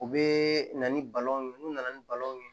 U bɛ na ni balon ye n'u nana ni balon ye